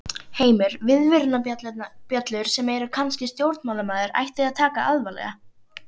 Heimir: Viðvörunarbjöllur sem að kannski stjórnmálamaður ætti að taka alvarlega?